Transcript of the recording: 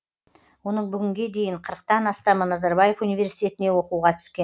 оның бүгінге дейін қырықтан астамы назарбаев университетіне оқуға түскен